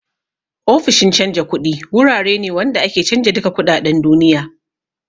Ofishin canja kuɗi wurare ne wanda ake canja duka kuɗaɗen duniya